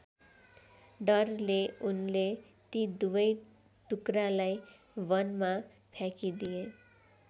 डरले उनले ती दुवै टुक्रालाई वनमा फ्याँकिदिए।